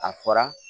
A fɔra